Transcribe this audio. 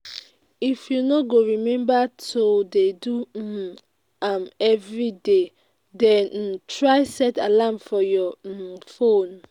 if you no go remember to dey do um am everyday den um try set alarm for your um phone